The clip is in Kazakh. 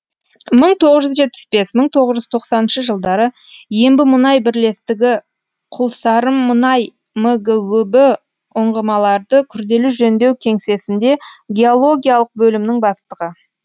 мың тоғыз жүз жетпіс бес мың тоғыз жүз тоқсаныншы жылдары ембімұнай бірлестігі құлсарымұнай мгөб ұңғымаларды күрделі жөндеу кеңсесінде геологиялық бөлімнің бастығы